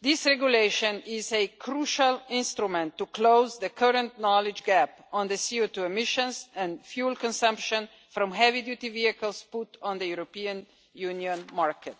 This regulation is a crucial instrument to close the current knowledge gap on the CO2 emissions and fuel consumption from heavy duty vehicles put on the European Union market.